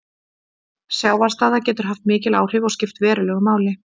Sjávarstaða getur haft mikil áhrif og skipt verulegu máli.